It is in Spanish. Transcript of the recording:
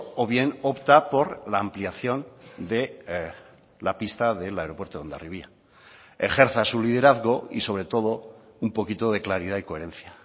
o bien opta por la ampliación de la pista del aeropuerto de hondarribia ejerza su liderazgo y sobre todo un poquito de claridad y coherencia